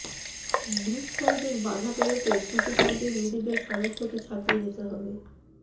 group পর্বের বাঁধা পেরোতে ক্রিকেটারদের নিজেদের সামর্থ্যকে ছাপিয়ে যেতে হবে